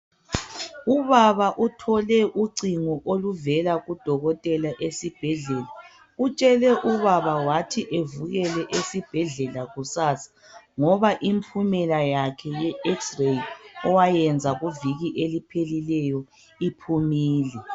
Ubaba uthole ucingo oluvela kudokotela esibhedlela. Utshele ubaba wathi evukele esibhedlela kusasa ngoba impumela yakhe ye xray owayenza kuviki eliphelileyo iphumile.